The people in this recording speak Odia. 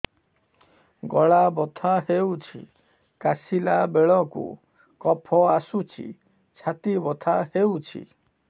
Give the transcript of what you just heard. ଗଳା ବଥା ହେଊଛି କାଶିଲା ବେଳକୁ କଫ ଆସୁଛି ଛାତି ବଥା ହେଉଛି